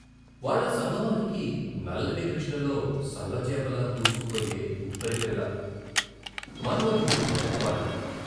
వాళ్ళ సంగమానికి నల్లటి కృష్ణలో సల్ల చేపలా దూసుకుపోయే ఉప్పరిపిల్ల, మన్మధుడి మొదటి బాణం.